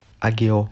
агео